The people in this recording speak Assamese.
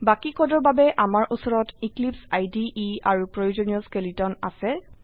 বাকি কোডৰ বাবে আমাৰ উচৰত এক্লিপছে ইদে আৰু প্ৰয়োজনীয় স্কেলেটন আছে